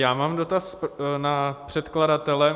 Já mám dotaz na předkladatele.